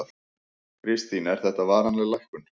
Kristín: Er þetta varanleg lækkun?